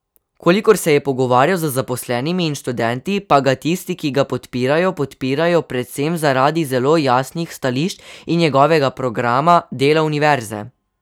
Kolikor se je pogovarjal z zaposlenimi in študenti, pa ga tisti, ki ga podpirajo, podpirajo predvsem zaradi zelo jasnih stališč in njegovega programa dela univerze.